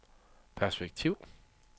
perspektiv